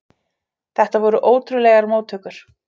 Þetta voru ótrúlegar móttökur.